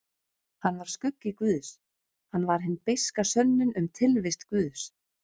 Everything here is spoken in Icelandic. Hann var skuggi guðs, hann var hin beiska sönnun um tilvist guðs.